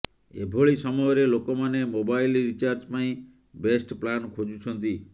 ଏଭଳି ସମୟରେ ଲୋକମାନେ ମୋବାଇଲ୍ ରିଚାର୍ଜ ପାଇଁ ବେଷ୍ଟ ପ୍ଲାନ ଖୋଜୁଛନ୍ତି